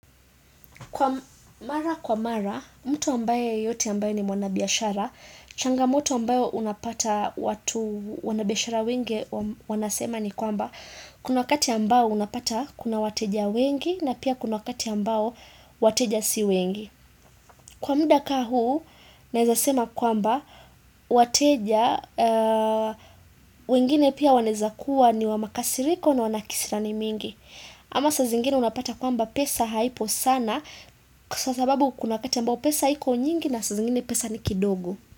Kwa mara kwa mara, mtu ambaye yote ambaye ni mwanabiashara, changamoto ambayo unapata watu wanabiashara wenge wanasema ni kwamba kuna wakati ambayo unapata kuna wateja wengi na pia kuna wakati ambayo wateja si wengi. Kwa mda ka huu, neza sema kwamba, wateja, wengine pia waneza kuwa ni wamakasiriko na wanakisirani mingi. Ama sa zingine unapata kwamba pesa haipo sana, kusasababu kuna wakati ambapo pesa hiko nyingi na sa zingine pesa ni kidogo.